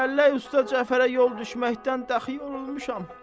Dəllək usta Cəfərə yol düşməkdən dəxi yorulmuşam.